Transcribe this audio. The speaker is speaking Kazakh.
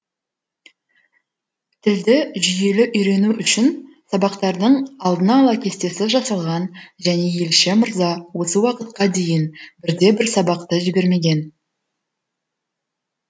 тілді жүйелі үйрену үшін сабақтардың алдын ала кестесі жасалған және елші мырза осы уақытқа дейін бірде бір сабақты жібермеген